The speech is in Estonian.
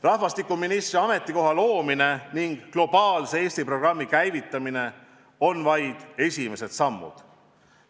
Rahvastikuministri ametikoha loomine ning "Globaalse Eesti" programmi käivitamine on vaid esimesed sammud.